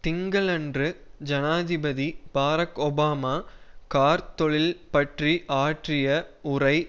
திங்களன்று ஜனாதிபதி Barack Obama கார்த் தொழில் பற்றி ஆற்றிய உரை